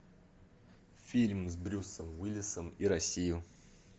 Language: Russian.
фильм с брюсом уиллисом и россию